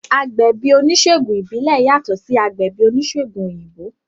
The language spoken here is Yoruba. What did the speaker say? Agbẹ̀bí oníṣègùn ìbílẹ̀ yàtọ̀ sí agbẹ̀bí oníṣègùn òyìnbó